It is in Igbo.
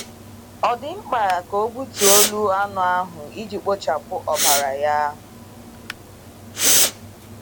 Ọ̀ dị mkpa ka ọ gbutuo olu anụ ahụ iji kpochapụ ọbara ya?